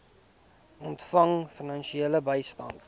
ontvang finansiële bystand